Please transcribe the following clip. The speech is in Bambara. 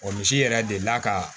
Wa misi yɛrɛ delila ka